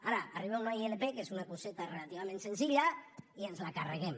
ara arriba una ilp que és una coseta relativament senzilla i ens la carreguem